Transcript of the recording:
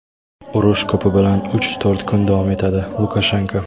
urush ko‘pi bilan uch-to‘rt kun davom etadi – Lukashenko.